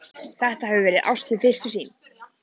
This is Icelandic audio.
Þetta hefur verið ást við fyrstu sýn.